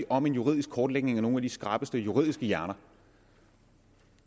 om en juridisk kortlægning fra nogle af de skrappeste juridiske hjerner